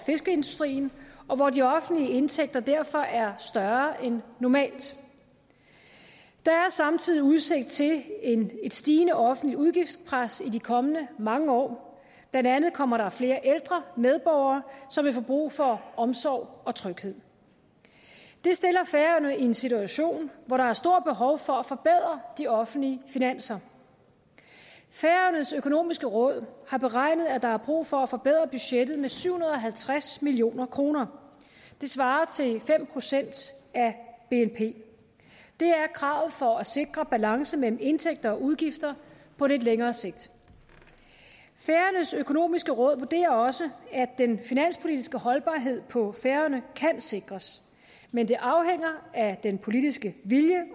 fiskeindustrien og hvor de offentlige indtægter derfor er større end normalt der er samtidig udsigt til et stigende offentligt udgiftspres i de kommende mange år blandt andet kommer der flere ældre medborgere som vil få brug for omsorg og tryghed det stiller færøerne i en situation hvor der er stort behov for at forbedre de offentlige finanser færøernes økonomiske råd har beregnet at der er brug for at forbedre budgettet med syv hundrede og halvtreds million kroner det svarer til fem procent af bnp det er kravet for at sikre balance mellem indtægter og udgifter på lidt længere sigt færøernes økonomiske råd vurderer også at den finanspolitiske holdbarhed på færøerne kan sikres men det afhænger af den politiske vilje